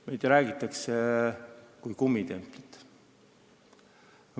Meist räägitakse kui kummitemplist.